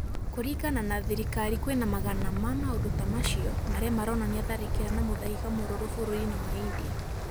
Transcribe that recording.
Kũrĩngana na thirikari kwĩna magana ma maũndũ ta macio marĩa maronania tharĩkĩra na mũthaiga mũrũrũ bũrũrĩ-inĩ wa India